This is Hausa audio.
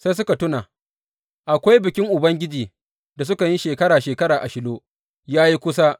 Sai suka tuna, akwai bikin Ubangiji da sukan yi shekara shekara a Shilo ya yi kusa.